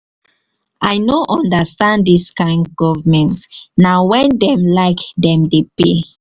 i no understand dis kain government na wen dem like dem dey pay.